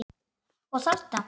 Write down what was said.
Og þarna?